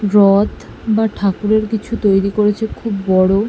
রথ বা ঠাকুরের কিছু তৈরী করেছে খুব বড়ো।